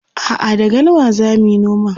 a'a da galma zamuyi noman